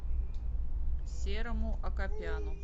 серому акопяну